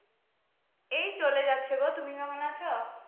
এই চলে যাচ্ছে গো, তুমি কেমন আছো?